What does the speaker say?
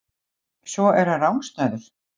Svo er hann rangstæður.